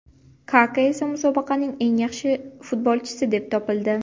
Kaka esa musobaqaning eng yaxshi futbolchisi deb topildi.